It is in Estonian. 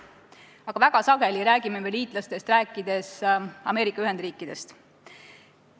Aga väga sageli räägime me liitlastest rääkides Ameerika Ühendriikidest.